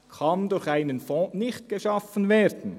– «kann durch einen Fonds geschaffen werden»!